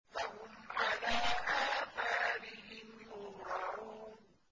فَهُمْ عَلَىٰ آثَارِهِمْ يُهْرَعُونَ